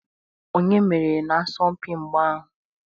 Onye meriri n'asọmpi mgba ahụ?